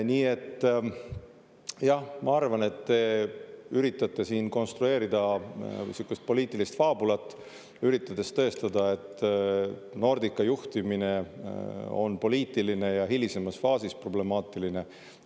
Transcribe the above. Nii et jah, ma arvan, et te siin konstrueerida sihukest poliitilist faabulat, üritades tõestada, et Nordica juhtimine on poliitiline ja hilisemas faasis problemaatiline.